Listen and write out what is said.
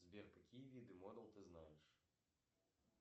сбер какие виды модл ты знаешь